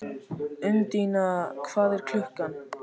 Undína, hvað er klukkan?